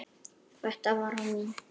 Þetta var mín.